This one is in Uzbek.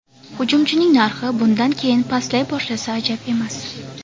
Hujumchining narxi bundan keyin pastlay boshlasa ajab emas.